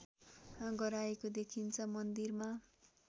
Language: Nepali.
गराएको देखिन्छ मन्दिरमा